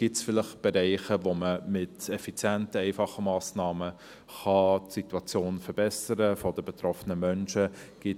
Gibt es vielleicht Bereiche, in denen man mit effizienten, einfachen Massnahmen die Situation der betroffenen Menschen verbessern kann?